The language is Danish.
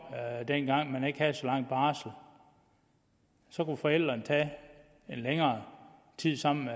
dengang man ikke havde så lang barsel så kunne forældrene tage en længere tid sammen